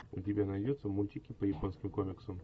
у тебя найдется мультики по японским комиксам